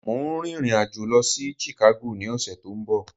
Mo ń rìnrìn àjò Lọ sí Chicago ní ọ̀sẹ̀ to ń bo